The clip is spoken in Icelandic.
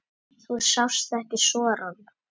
Þú sást ekki sorann.